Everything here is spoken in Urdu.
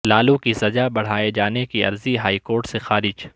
لالو کی سزا بڑھائے جانے کی عرضی ہائی کورٹ سے خارج